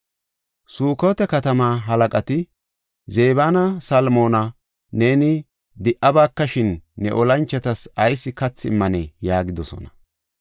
Sukota katamaa halaqati, “Zebanne Salmoona neeni di77abakashin ne olanchotas ayis kathi immanee?” yaagidosona.